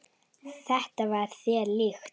Þetta var þér líkt.